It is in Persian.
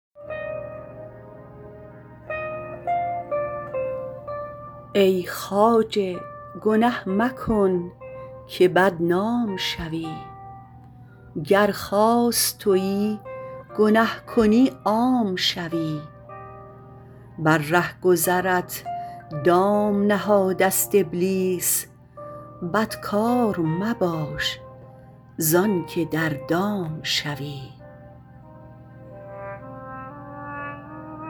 ای خواجه گنه مکن که بدنام شوی گر خاص تویی گنه کنی عام شوی بر رهگذرت دام نهاده است ابلیس بدکار مباش زانکه در دام شوی